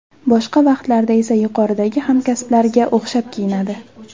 Boshqa vaqtlarda esa yuqoridagi hamkasblariga o‘xshab kiyinadi.